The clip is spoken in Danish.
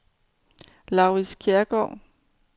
Laurits Kjærsgaard